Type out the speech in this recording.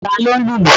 Ta ló ń lùlù?